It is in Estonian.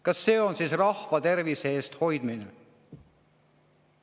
Kas see on siis rahva tervise hoidmine?